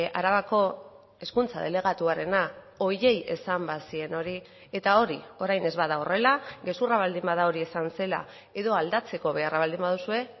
arabako hezkuntza delegatuarena horiei esan bazien hori eta hori orain ez bada horrela gezurra baldin bada hori esan zela edo aldatzeko beharra baldin baduzue